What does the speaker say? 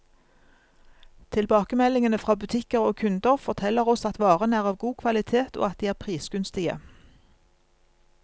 Tilbakemeldingene fra butikker og kunder, forteller oss at varene er av god kvalitet, og at de er prisgunstige.